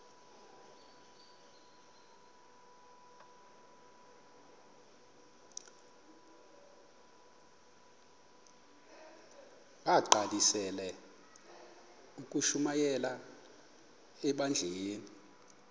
bagqalisele ukushumayela ebandleni